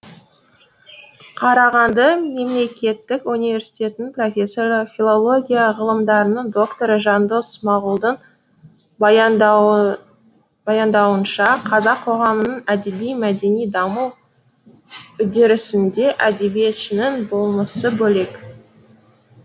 қарағанды мемлекеттік университетінің профессоры филология ғылымдарының докторы жандос смағұлдың баяндауынша қазақ қоғамының әдеби мәдени даму үдерісінде әдебиетшінің болмысы бөлек